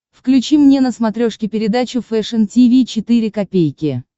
включи мне на смотрешке передачу фэшн ти ви четыре ка